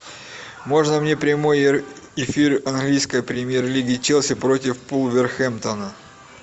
можно мне прямой эфир английской премьер лиги челси против вулверхэмптона